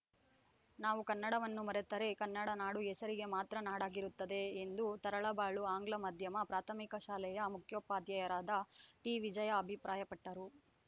ನಾವು ಕನ್ನಡವನ್ನು ಮರೆತರೆ ಕನ್ನಡ ನಾಡು ಹೆಸರಿಗೆ ಮಾತ್ರ ನಾಡಾಗಿರುತ್ತದೆ ಎಂದು ತರಳಬಾಳು ಆಂಗ್ಲ ಮಾಧ್ಯಮ ಪ್ರಾಥಮಿಕ ಶಾಲೆಯ ಮುಖ್ಯೋಪಾಧ್ಯಾಯರಾದ ಟಿವಿಜಯಾ ಅಭಿಪ್ರಾಯಪಟ್ಟರು